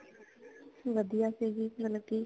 ਵਧੀਆ ਸੀਗੀ ਮਤਲਬ ਕੀ